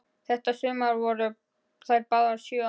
Þetta sumar voru þær báðar sjö ára.